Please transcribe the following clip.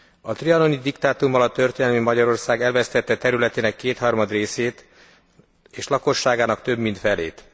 A trianoni diktátum alatt a történelmi Magyarország elvesztette területének kétharmad részét és lakosságának több mint felét.